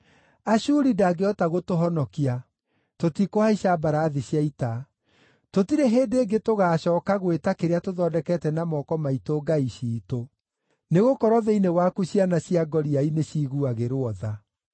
Ashuri ndangĩhota gũtũhonokia; tũtikũhaica mbarathi cia ita. Tũtirĩ hĩndĩ ĩngĩ tũgaacooka gwĩta kĩrĩa tũthondekete na moko maitũ ‘ngai ciitũ,’ nĩgũkorwo thĩinĩ waku ciana cia ngoriai nĩciiguagĩrwo tha.”